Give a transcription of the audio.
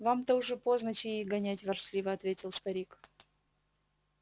вам-то уже поздно чаи гонять ворчливо ответил старик